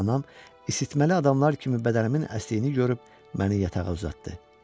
Anam isitməli adamlar kimi bədənimin əsdiyini görüb məni yatağa uzatdı.